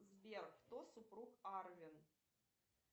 сбер кто супруг арвин